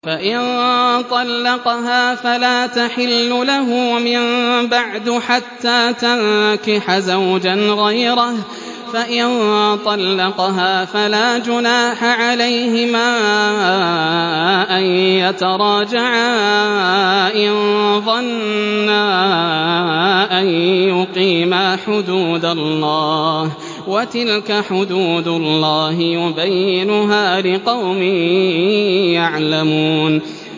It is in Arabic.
فَإِن طَلَّقَهَا فَلَا تَحِلُّ لَهُ مِن بَعْدُ حَتَّىٰ تَنكِحَ زَوْجًا غَيْرَهُ ۗ فَإِن طَلَّقَهَا فَلَا جُنَاحَ عَلَيْهِمَا أَن يَتَرَاجَعَا إِن ظَنَّا أَن يُقِيمَا حُدُودَ اللَّهِ ۗ وَتِلْكَ حُدُودُ اللَّهِ يُبَيِّنُهَا لِقَوْمٍ يَعْلَمُونَ